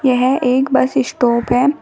यह एक bus stop है।